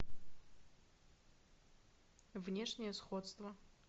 внешнее сходство